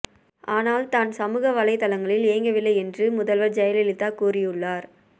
ஆனால் தான் சமூக வலைத்தளங்களில் இயங்கவில்லை என்று முதல்வர் ஜெயலலிதா கூறியுள்ளார்